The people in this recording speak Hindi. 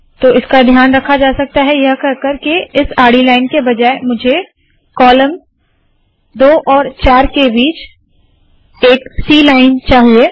तो इसका ध्यान रखा जा सकता है यह कहकर के इस आडी लाइन के बजाय मुझे कॉलम 2 और 4 के बीच एक सी लाइन चाहिए